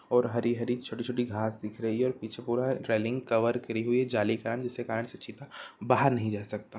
और हरी हरी छोटी छोटी घांस दिख रही है और पीछे पूरा रेलिग कवर करि हुई है जाली का जिसके कारन से चीता बाहर नही जा सकता--